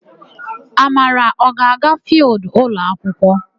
Amara, ọ ga-aga fịịldụ ụlọakwụkwọ?